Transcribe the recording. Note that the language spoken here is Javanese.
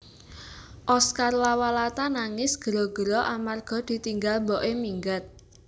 Oscar Lawalata nangis gero gero amarga ditinggal mbok e minggat